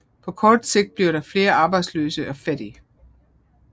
På kort sigt bliver der flere arbejdsløse og fattige